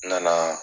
N nana